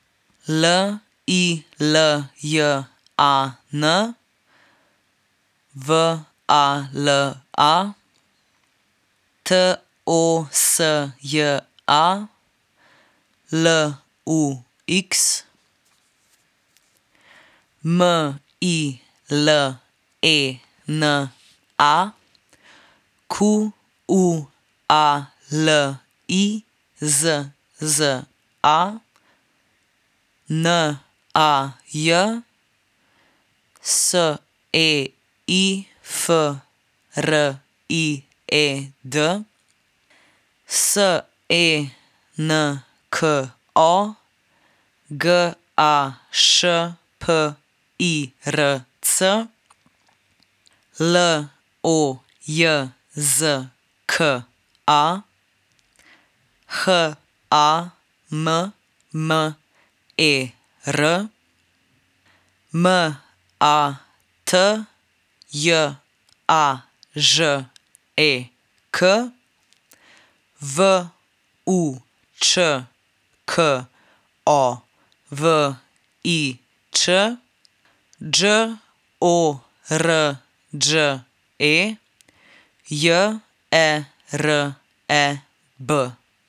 L I L J A N, W A L A; T O S J A, L U X; M I L E N A, Q U A L I Z Z A; N A J, S E I F R I E D; S E N K O, G A Š P I R C; L O J Z K A, H A M M E R; M A T J A Ž E K, V U Č K O V I Ć; Đ O R Đ E, J E R E B.